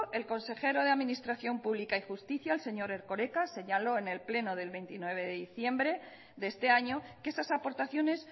el consejero de administración pública y justicia el señor erkoreka señaló en el pleno del veintinueve de diciembre de este año que esas aportaciones